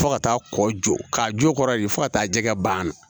Fo ka taa kɔ jɔ k'a jo kɔrɔ de fo ka taa jɛgɛ banna